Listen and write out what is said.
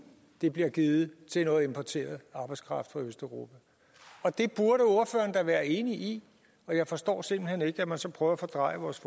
det bliver givet til noget importeret arbejdskraft fra østeuropa det burde ordføreren da være enig i og jeg forstår simpelt hen ikke at man så prøver at fordreje vores